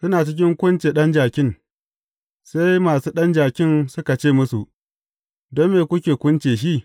Suna cikin kunce ɗan jakin, sai masu ɗan jakin suka ce musu, Don me kuke kunce shi?